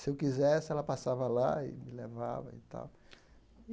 Se eu quisesse, ela passava lá e me levava e tal.